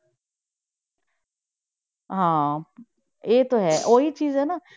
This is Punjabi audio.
ਹਾਂ ਇਹ ਤਾਂ ਹੈ ਉਹ ਹੀ ਚੀਜ਼ ਹੈ ਨਾ।